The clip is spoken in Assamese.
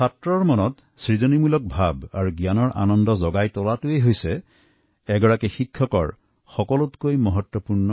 এজন শিক্ষকৰ মহত্ত্বম গুণ তেওঁৰ ছাত্ৰছাত্ৰীৰ মাজত সৃজনীশীল মানসিকতা জাগ্ৰত কৰা আৰু জ্ঞান অৰ্জনৰ আনন্দ দিয়া